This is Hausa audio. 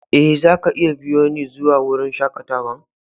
Eh, za ka iya biyo ni zuwa wurin shakatawan.